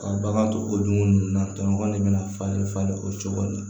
Ka bagan to o dugu ninnu na tɔɲɔgɔn de bɛna falen falen o cogo in na